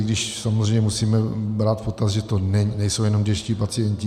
I když samozřejmě musíme brát v potaz, že to nejsou jenom dětští pacienti.